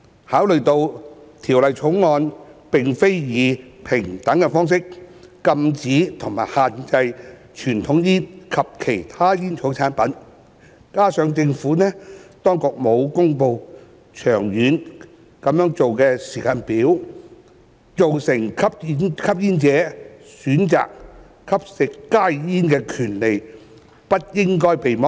考慮到《條例草案》並非以平等方式禁止和限制傳統香煙及其他煙草產品，加上政府當局沒有公布長遠會這樣做的時間表，成年吸煙者選擇吸食加熱煙的權利不應被剝削。